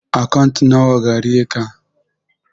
Akant na wa gareka?